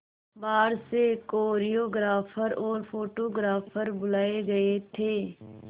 बाहर से कोरियोग्राफर और फोटोग्राफर बुलाए गए थे